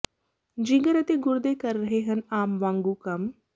ਜਿਗਰ ਅਤੇ ਗੁਰਦੇ ਕਰ ਰਹੇ ਹਨ ਆਮ ਵਾਂਗੂ ਕੰਮ